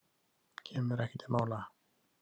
Kemur ekki til mála.